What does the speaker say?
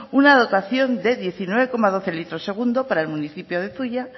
una dotación de diecinueve coma doce litros segundo para el municipio de zuia